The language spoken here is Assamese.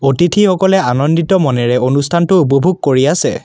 অতিথি সকলে আনন্দিত মনেৰে অনুষ্ঠানটো উপভোগ কৰি আছে।